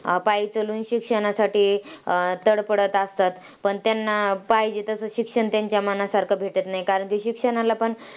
अं पायी चालून शिक्षणासाठी अं तडफडत असतात. पण त्यांना, पाहिजे तसं शिक्षण त्यांच्या मनासारखं भेटत नाही. कारण की शिक्षणाला पण